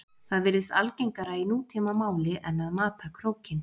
Það virðist algengara í nútímamáli en að mata krókinn.